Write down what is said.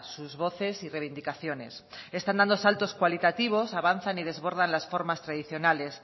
sus voces y reivindicaciones están dando saltos cualitativos avanzan y desbordan las formas tradicionales